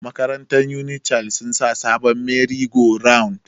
Makarantar unik child sun sa sabon meri go round